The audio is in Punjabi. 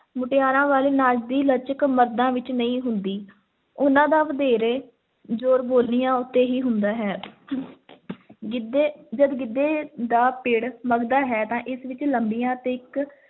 ਮੁਟਿਆਰਾਂ ਵਾਲੇ ਨਾਚ ਦੀ ਲਚਕ ਮਰਦਾਂ ਵਿੱਚ ਨਹੀਂ ਹੁੰਦੀ, ਉਹਨਾਂ ਦਾ ਵਧੇਰੇ ਜ਼ੋਰ ਬੋਲੀਆਂ ਉੱਤੇ ਹੀ ਹੁੰਦਾ ਹੈ ਗਿੱਧੇ ਜਦ ਗਿੱਧੇ ਦਾ ਪਿੱੜ ਮਘਦਾ ਹੈ ਤਾਂ ਇਸ ਵਿੱਚ ਲੰਬੀਆਂ ਤੇ ਇੱਕ